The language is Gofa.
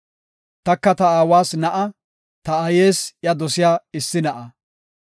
Taka ta aawas na7a; ta aayes iya dosiya issi na7a.